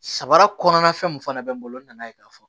Sabara kɔnɔna fɛn mun fana bɛ n bolo n nana ye k'a fɔ